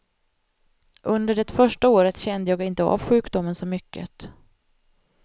Under det första året kände jag inte av sjukdomen så mycket.